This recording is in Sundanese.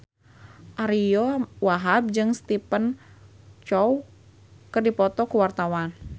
Ariyo Wahab jeung Stephen Chow keur dipoto ku wartawan